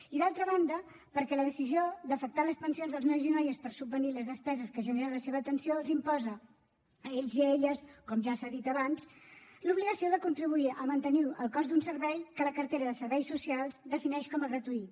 i d’altra banda perquè la decisió d’afectar les pensions dels nois i noies per subvenir les despeses que genera la seva atenció els imposa a ells i a elles com ja s’ha dit abans l’obligació de contribuir a mantenir el cost d’un servei que la cartera de serveis socials defineix com a gratuït